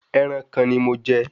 Ẹran kan ni mo jẹ